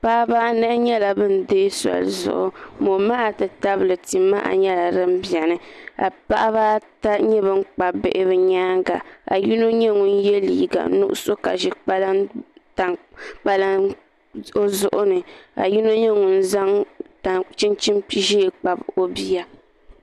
Paɣaba anahi nyɛla bin deei soli zuŋu momaha ti tabili tia maha nyɛla din biɛni ka paɣaba ata nyɛ bin kpabi bihi bi nyaanga ka yino nyɛ ŋun yɛ liiga nuɣso ka ʒi kpalaŋ o zuɣu ni ka yino nyɛ ŋun zaŋ tani chinchin ʒiɛ kpabi o bia